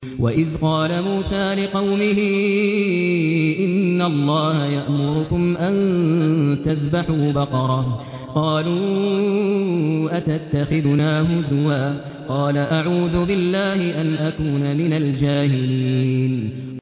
وَإِذْ قَالَ مُوسَىٰ لِقَوْمِهِ إِنَّ اللَّهَ يَأْمُرُكُمْ أَن تَذْبَحُوا بَقَرَةً ۖ قَالُوا أَتَتَّخِذُنَا هُزُوًا ۖ قَالَ أَعُوذُ بِاللَّهِ أَنْ أَكُونَ مِنَ الْجَاهِلِينَ